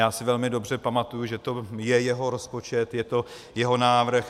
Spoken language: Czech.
Já si velmi dobře pamatuji, že to je jeho rozpočet, je to jeho návrh.